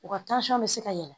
U ka bɛ se ka yɛlɛ